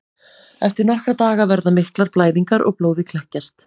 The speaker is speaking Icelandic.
Eftir nokkra daga verða miklar blæðingar og blóðið kekkjast.